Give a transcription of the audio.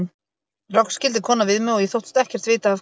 Loks skildi konan við mig og ég þóttist ekkert vita af hverju.